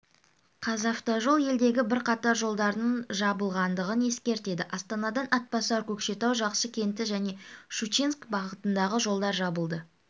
қазавтожол елдегі бірқатар жолдардың жабылғандығын ескертеді астанадан атбасар көкшетау жақсы кенті және шучинск бағытындағы жолдар жабылды